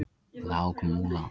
Lágmúla